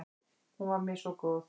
Hún var mér svo góð.